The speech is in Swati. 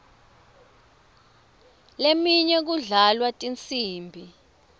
leminye kudlalwa tinsimbi